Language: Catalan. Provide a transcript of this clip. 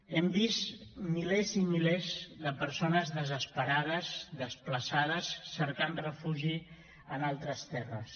hem vist milers i milers de persones desesperades desplaçades cercant refugi en altres terres